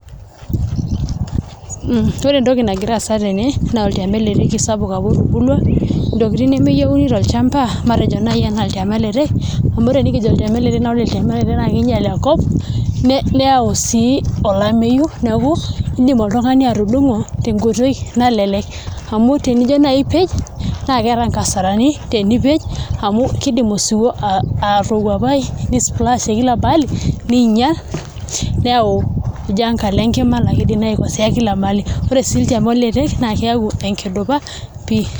Ore entoki nagira aasa tene na oltiamiletei sapuk apa otubulua, ntokitin nemeyieuni tolchamba matejo nai ana oltiamiletei ore oltiamiletei na kinyel enkop neayu sii olameyu neaku indim oltungani atudongo tenkoitoi nalelek amu tenijo nai apej nakeeta nkasarani amu kidim osiwuo apawuapai ni splash tekila mahali ninyal neyau enkalo enkima nakidim aikosea kilamaali ore si lchamorere na keyau ndupa pii.